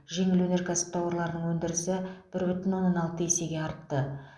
жеңіл өнеркәсіп тауарларының өндірісі бір бүтін оннан алты есеге артты